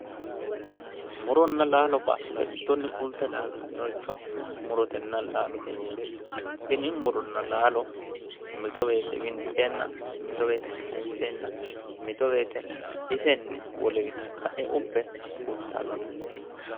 Muronna laalo baattote giddonni fulte laaltannricho murotenna laalote yineemmo. Tini muronna laalo mito woyite winxeenna mito woyite kayinseenna mito woyite isenni woliwi tatta'e ubbe fultannote.